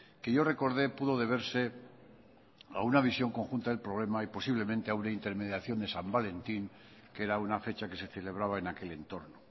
que yo recordé pudo deberse a una visión conjunta del problema y posiblemente a una intermediación de san valentín que era una fecha que se celebraba en aquel entorno